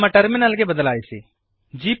ನಮ್ಮ ಟರ್ಮಿನಲ್ ಗೆ ಬದಲಾಯಿಸಿರಿ